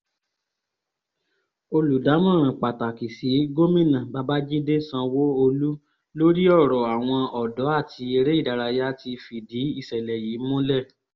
olùdámọ̀ràn pàtàkì sí gómìnà babàjídé sanwó-olu lórí ọ̀rọ̀ àwọn ọ̀dọ́ àti eré ìdárayá ti fìdí ìṣẹ̀lẹ̀ yìí múlẹ̀